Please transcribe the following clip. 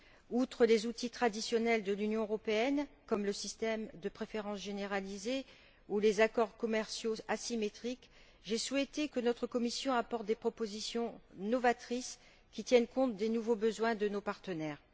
Outre les outils traditionnels de l'Union européenne, comme le système de préférences généralisées ou les accords commerciaux asymétriques, j'ai souhaité que notre commission apporte des propositions novatrices, qui tiennent compte des nouveaux besoins de nos partenaires.